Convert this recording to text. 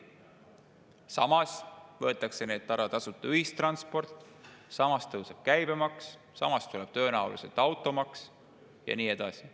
Samas võetakse neilt ära tasuta ühistransport, samas tõuseb käibemaks, samas tuleb tõenäoliselt automaks ja nii edasi.